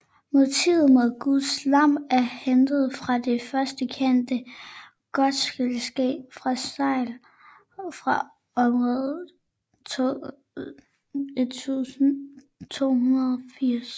Motivet med guds lam er hentet fra det første kendte gotiske segl fra omtrent 1280